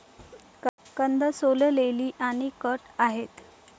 कंद सोललेली आणि कट आहेत.